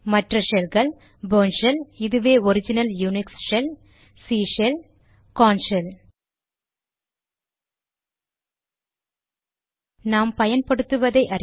மற்ற ஷெல்கள் Bourne shell இதுவே original Unix shell C shell Korn shell நாம் பயன்படுத்துவதை அறிய